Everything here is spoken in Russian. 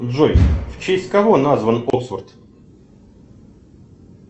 джой в честь кого назван оксфорд